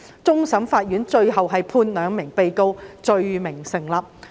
終審法院最終判兩名被告罪名成立。